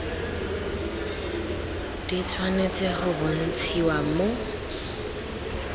di tshwanetse go bontshiwa mo